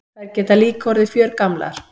Þær geta líka orðið fjörgamlar.